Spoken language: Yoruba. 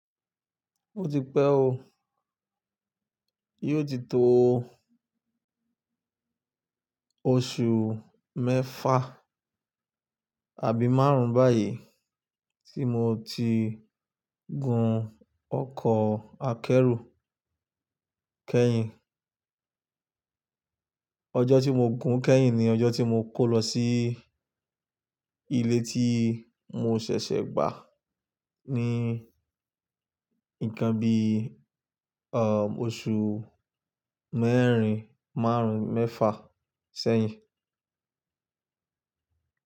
Ó ti pẹ́ o. Yó ti tó oṣù mẹ́fà àbí márùn-ún báyìí tí mo ti gun ọkọ̀ akẹ́rù kẹ́yìn. Ọjọ́ tí mo gun kẹ́yìn ni ọjọ́ tí mo kó lọ sí ilé tí mo ṣẹ̀ṣẹ̀ gbà ní ǹkan bí i, à, oṣù mẹ́rin, márùn-ún, mẹ́fà sẹ́yìn.